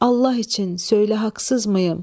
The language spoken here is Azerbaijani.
Allah üçün söylə, haqsızmıyım?